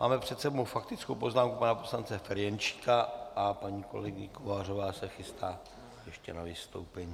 Máme před sebou faktickou poznámku pana poslance Ferjenčíka a paní kolegyně Kovářová se chystá ještě na vystoupení.